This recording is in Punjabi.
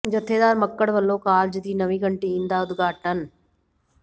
ਜਥੇਦਾਰ ਮੱਕੜ ਵੱਲੋਂ ਕਾਲਜ ਦੀ ਨਵੀਂ ਕੰਟੀਨ ਦਾ ਉਦਘਾਟਨ